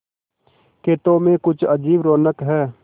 खेतों में कुछ अजीब रौनक है